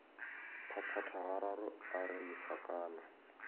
phaphatha gararo a re lesekana